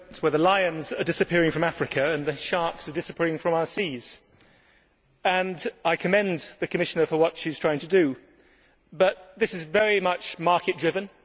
With the lions disappearing from Africa and the sharks disappearing from our seas, I commend the Commissioner for what she is trying to do, but this is very much market driven.